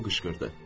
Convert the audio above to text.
O qışqırdı.